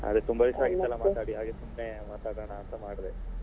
ಅದು ತುಂಬಾ ದಿವ್ಸ ಆಗಿತ್ತಲ್ಲ ಮಾತಾಡಿ ಹಾಗೆ ಸುಮ್ನೆ ಮಾತಾಡೋಣ ಅಂತ ಮಾಡಿದೆ.